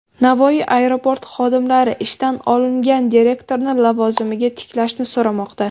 Navoiy aeroporti xodimlari ishdan olingan direktorni lavozimiga tiklashni so‘ramoqda.